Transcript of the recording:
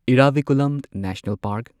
Eravikulam national park